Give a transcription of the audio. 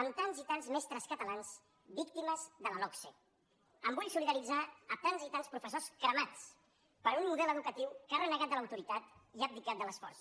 amb tants i tants mestres catalans víctimes de la logse em vull solidaritzar amb tants i tants professors cremats per un model educatiu que ha renegat de l’autoritat i que ha abdicat de l’esforç